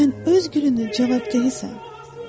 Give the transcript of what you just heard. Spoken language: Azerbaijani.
Sən öz gülünün cavabdehisan.